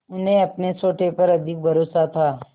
उन्हें अपने सोटे पर अधिक भरोसा था